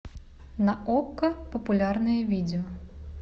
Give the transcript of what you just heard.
на окко популярные видео